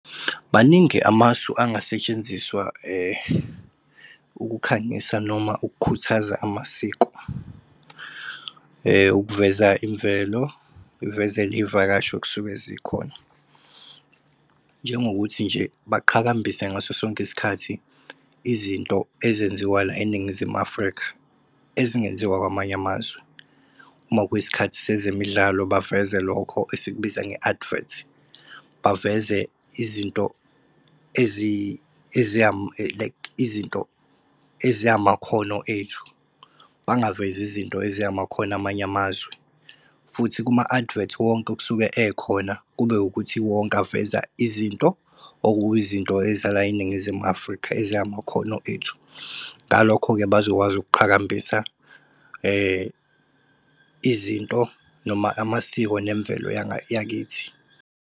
Maningi amasu angasetshenziswa ukukhanyisa noma ukukhuthaza amasiko. Ukuveza imvelo, uvezele iy'vakashi okusuke zikhona, njengokuthi nje baqhakambise ngaso sonke isikhathi izinto ezenziwa la eNingizimu Afrika, ezingenziwa kwamanye amazwe. Uma kuyisikhathi sezemidlalo baveze lokho esikubiza nge-advert, baveze izinto ezingamakhono ethu, bangavezi izinto ezingamakhono amanye amazwe. Futhi kuma-advert wonke okusuke ekhona kube ukuthi wonke aveza izinto, okuyizinto eza la eNingizimu Afrika ezingamakhono ethu. Ngalokho-ke, bazokwazi ukuqhakambisa izinto noma amasiko nemvelo yakithi.